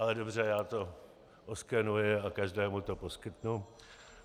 Ale dobře, já to oskenuji a každému to poskytnu.